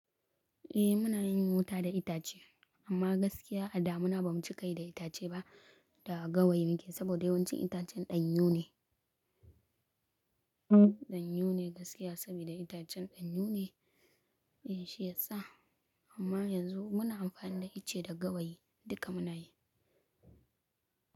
Eh muna yin wuta da itace amma gaskiya a da muna ba mu ci kai da itace ba da gawayi ne saboda yawancin itacen ɗanyun ne. Ɗanyun ne gaskiya saboda itacen ɗanyun ne. Eh shi ya sa amma yanzu muna amfani da ice da gawayi. Duka muna yi.